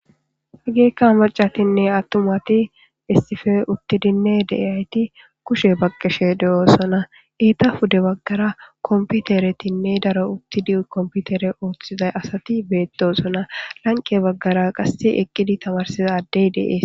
hygeeykka macatinne attumati issife uttidinne deyayti kushe baqqeshe de7oosona eeta hude baggara komputeretinne daro uttid komputere ooththizay asati beetosona lanqe baggara qasse eqqidi tamarsiza addey deees